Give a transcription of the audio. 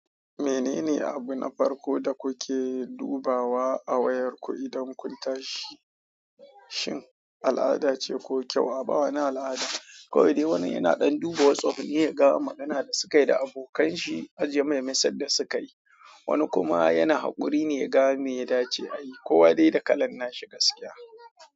Menene abu na farko da kuke dubawa a wayarku idan kun tashi? Shin al'ada ce ko kyau a ba wani al'ada? Ko dai wani yana ɗan duba WhatsApp ne ya ga magana da sukayi da abokan shi a jiya maimai sanda sukayi, wani kuma yana haƙuri ne ya ga me ya dace a yi. Kowa dai da kalan nashi gaskiya.